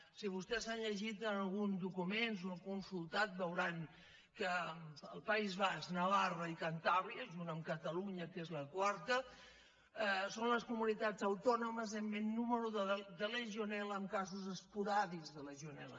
si vostès han llegit alguns documents o n’han consul·tat veuran que el país basc navarra i cantàbria junt amb catalunya que és la quarta són les comunitats autònomes amb més nombre de legionelesporàdics de legionel·la